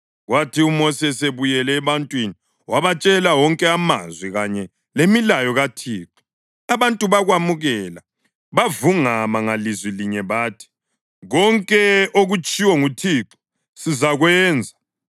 Kwathi uMosi esebuyele ebantwini wabatshela wonke amazwi kanye lemilayo kaThixo, abantu bakwamukela, bavungama ngalizwi linye bathi, “Konke okutshiwo nguThixo sizakwenza.”